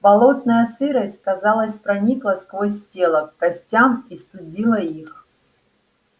болотная сырость казалось проникла сквозь тело к костям и студила их